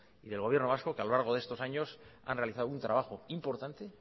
y del gobierno vasco que a lo largo de estos años han realizado un trabajo importante